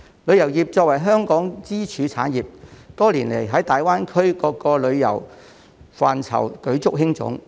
旅遊業作為香港支柱產業，多年來在大灣區各個旅遊範疇舉足輕重。